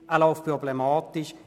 Er läuft unproblematisch.